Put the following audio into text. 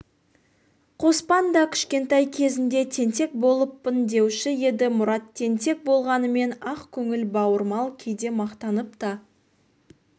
қоспан да кішкентай кезінде тентек болыппын деуші еді мұрат тентек болғанымен ақкөңіл бауырмал кейде мақтанып та